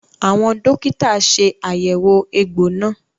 Àwọn dókítà ṣe àyẹ̀wò egbò náà